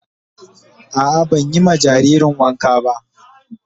A'a ban yi ma jaririn wanka ba